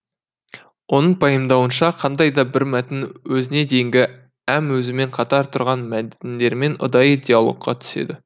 оның пайымдауынша қандай да бір мәтін өзіне дейінгі әм өзімен қатар тұрған мәтіндермен ұдайы диалогқа түседі